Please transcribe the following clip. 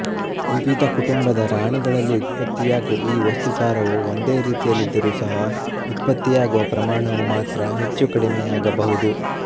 ವಿವಿಧ ಕುಟುಂಬದ ರಾಣಿಗಳಲ್ಲಿ ಉತ್ಪತ್ತಿಯಾಗುವ ಈ ವಸ್ತುಸಾರವು ಒಂದೇ ರೀತಿಯಲ್ಲಿದ್ದರೂ ಸಹ ಉತ್ಪತ್ತಿಯಾಗುವ ಪ್ರಮಾಣವು ಮಾತ್ರ ಹೆಚ್ಚುಕಡಿಮೆಯಾಗಬಹುದು